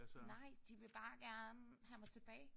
Nej. De vil bare gerne have mig tilbage